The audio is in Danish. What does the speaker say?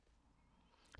DR2